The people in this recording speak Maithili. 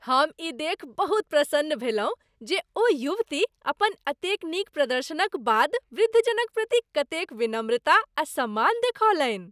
हम ई देखि बहुत प्रसन्न भेलहुँ जे ओ युवती अपन एतेक नीक प्रदर्शनक बाद वृद्धजनक प्रति कतेक विनम्रता आ सम्मान देखौलनि।